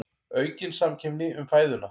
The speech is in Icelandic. Aukin samkeppni um fæðuna